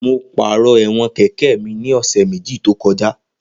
Mo pàrọ̀ ẹ̀wọ̀n kẹ̀kẹ́ mi ní ọ̀sẹ̀ méjì tó kọjá